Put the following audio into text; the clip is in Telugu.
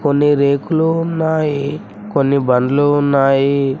కొన్ని రేకులూ ఉన్నాయి కొన్ని బండ్లు ఉన్నాయి.